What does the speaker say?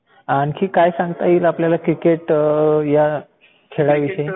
आणखी काय सांगता येईल आपल्याला क्रिकेट ह्या खेळाविषयी?